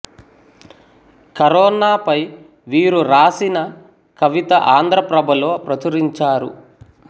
corona పై వీరు రాసిన కవిత ఆంధ్ర ప్రభలో ప్రచురించారు